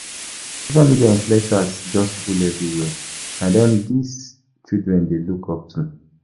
Social media influencers just full everywhere, na dem dese children dey look-up to.